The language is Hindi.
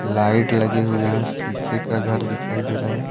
लाइट लगे हुए हैं शीशे का घर दिखाई दे रहा है।